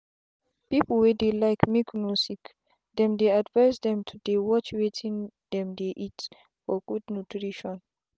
people wey dey like make no sickthem dey advise them to dey watch wetin them dey eat for good nutrition